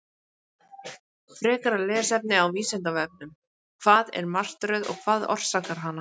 Frekara lesefni á Vísindavefnum: Hvað er martröð og hvað orsakar hana?